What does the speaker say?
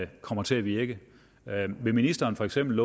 kommer til at virke vil ministeren for eksempel